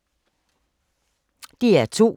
DR2